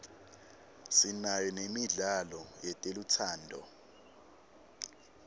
sinayo nemidlalo yetelutsando